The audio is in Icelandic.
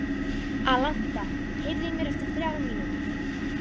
Alanta, heyrðu í mér eftir þrjár mínútur.